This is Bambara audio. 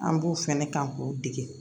An b'u fɛnɛ kan k'u dege